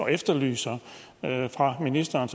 efterlyser at man fra ministeren